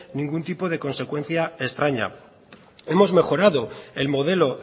ningún tipo de consecuencia extraña hemos mejorado el modelo